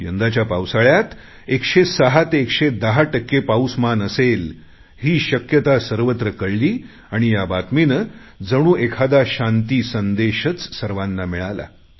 यंदाच्या पावसाळ्यात 106 ते 110 टक्के पाऊसमान असेल ही शक्यता सर्वत्र कळली आणि ह्या बातमीने जणू एखादा शांती संदेशच सर्वांना मिळाला